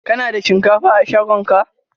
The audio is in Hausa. Ka na da shinkafa a shagon ka?